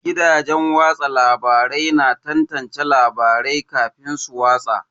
Gidajen watsa labarai na tantance labarai kafin su watsa.